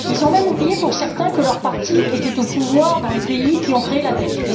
Ils ont même oublié, pour certains, que leur parti était au pouvoir dans les pays qui ont créé la dette.